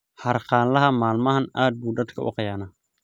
Xaarganlaxa maalmahan aad bu dadku uu qiyaanaa